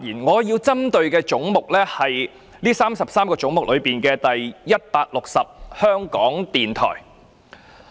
我針對的是這33個總目中的總目 160： 香港電台。